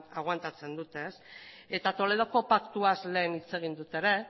agoantatzen dute ez eta toledoko paktuaz lehen hitz egin dut ere